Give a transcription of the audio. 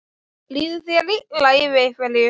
Líður þér illa yfir einhverju?